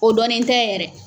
O dɔnnen tɛ yɛrɛ.